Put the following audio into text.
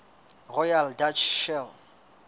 royal dutch shell